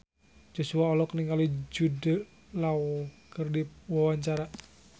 Joshua olohok ningali Jude Law keur diwawancara